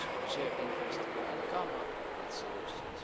around shared interests and come up with solutions.